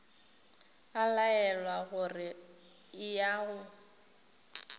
a laelwa gore eya o